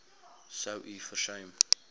sou u versuim